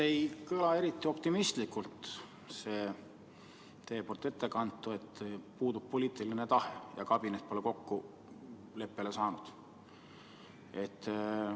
Ei kõla eriti optimistlikult see teie ettekantu, et puudub poliitiline tahe ja kabinet pole kokkuleppele saanud.